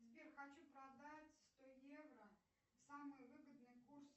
сбер хочу продать сто евро самый выгодный курс